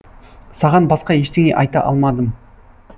саған басқа ештеңе айта алмадым